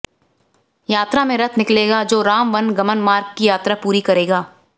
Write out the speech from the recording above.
यात्रा में रथ निकलेगा जो राम वन गमन मार्ग की यात्रा पूरी करेगा